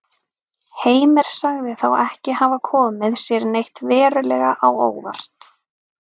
Heimir sagði þá ekki hafa komið sér neitt verulega á óvart.